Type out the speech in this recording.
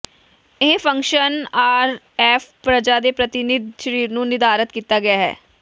ਇਹ function RF ਪਰਜਾ ਦੇ ਪ੍ਰਤੀਨਿਧ ਸਰੀਰ ਨੂੰ ਨਿਰਧਾਰਤ ਕੀਤਾ ਗਿਆ ਹੈ